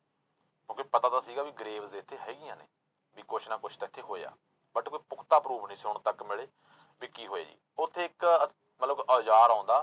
ਕਿਉਂਕਿ ਪਤਾ ਤਾਂ ਸੀਗਾ ਵੀ graves ਇੱਥੇ ਹੈਗੀਆਂ ਨੇ, ਵੀ ਕੁਛ ਨਾ ਕੁਛ ਤਾਂ ਇੱਥੇ ਹੋਇਆ but ਕੋਈ ਪੁਖਤਾ proof ਨੀ ਸੀ ਹੁਣ ਤੱਕ ਮਿਲੇ, ਵੀ ਕੀ ਹੋਇਆ ਉੱਥੇ ਇੱਕ ਮਤਲਬ ਔਜ਼ਾਰ ਆਉਂਦਾ